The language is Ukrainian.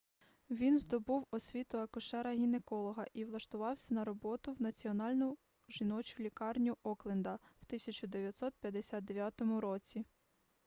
він здобув освіту акушера-гінеколога і влаштувався на роботу в національну жіночу лікарню окленда в 1959 році